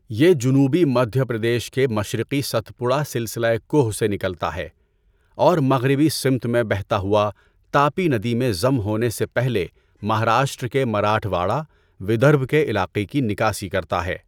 یہ جنوبی مدھیہ پردیش کے مشرقی ستپوڑا سلسلہ کوہ سے نکلتا ہے، اور مغربی سمت میں بہتا ہوا، تاپی ندی میں ضم ہونے سے پہلے مہاراشٹر کے مراٹھواڑہ، ودربھ کے علاقے کی نکاسی کرتا ہے۔